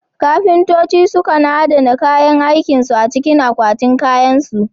Kafintoci sukan adana kayan aikin su a cikin akwatinan kayansu.